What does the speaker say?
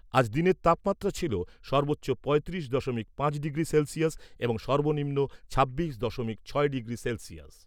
আজ দিনের তাপমাত্রা ছিল সর্বোচ্চ পঁয়ত্রিশ দশমিক পাঁচ ডিগ্রি সেলসিয়াস এবং সর্বনিম্ন ছাব্বিশ দশমিক ছয় ডিগ্রি সেলসিয়াস।